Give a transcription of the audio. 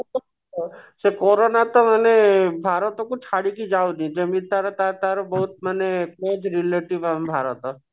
ସେ କୋରୋନା ତ ମାନେ ଭାରତ କୁ ଛାଡିକି ଯାଉନି ଯେମିତି ତାର ତା ତାର ବହୁତ ମାନେ ବହୁତ relative ଆମ ଭାରତ